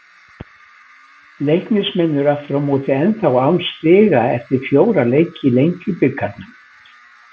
Leiknismenn eru aftur á móti ennþá án stiga eftir fjóra leiki í Lengjubikarnum.